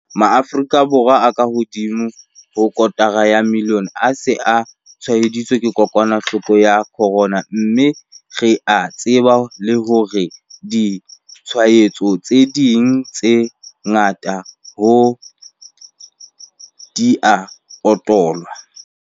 Maafrika Borwa a kahodimo ho kotara ya milione a se a tshwaeditswe ke kokwanahloko ya corona, mme re a tseba le hore ditshwaetso tse ding tse ngata ha di a utollwa.